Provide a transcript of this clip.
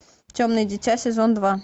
темное дитя сезон два